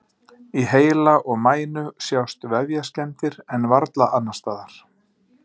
Í heila og mænu sjást vefjaskemmdir en varla annars staðar.